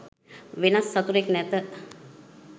වෙනත් සතුරෙක් නැත.